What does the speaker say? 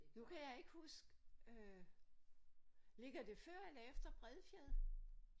Nu kan jeg ikke huske øh ligger det før eller efter Bredfjed?